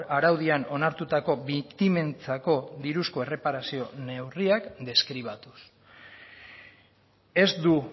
araudian onartutako biktimentzako diruzko erreparazio neurriak deskribatuz ez du